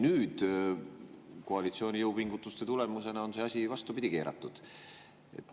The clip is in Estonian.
Nüüd on koalitsiooni jõupingutuste tulemusena see asi vastupidi keeratud.